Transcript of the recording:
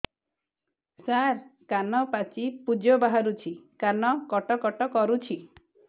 ସାର କାନ ପାଚି ପୂଜ ବାହାରୁଛି କାନ କଟ କଟ କରୁଛି